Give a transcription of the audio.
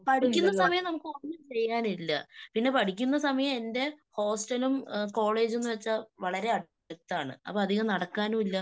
പഠിക്കുന്ന സമയം നമുക്ക് ഒന്നും ചെയ്യാനില്ല.പിന്നെ പഠിക്കുന്ന സമയം എന്റെ ഹോസ്റ്റലും കോളേജുംന്ന് വെച്ചാൽ വളരെ അടുത്താണ്. അപ്പൊ അധികം നടക്കാനുമില്ല.